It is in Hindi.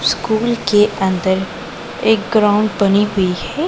स्कूल के अंदर एक ग्राउंड बनी हुई है।